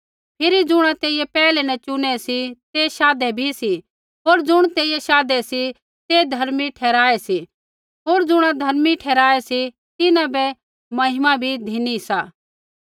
फिरी ज़ुणा तेइयै पैहलै न चुनै सी तै शाधे बी सी होर ज़ुणिबै तेइयै शाधे सा ते धर्मी बी ठहराऐ सी होर ज़ुणा धर्मी ठहराऐ सी तिन्हां बै महिमा बी धिनी सा